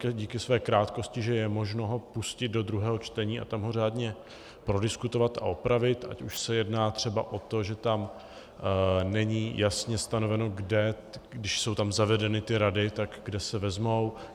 díky své krátkosti, že je možno ho pustit do druhého čtení a tam ho řádně prodiskutovat a opravit, ať už se jedná třeba o to, že tam není jasně stanoveno kde, když jsou tam zavedeny ty rady, tak kde se vezmou.